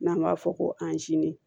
N'an b'a fɔ ko